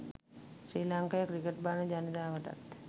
ශ්‍රී ලංකාවේ ක්‍රිකට් බලන ජනතාවටත්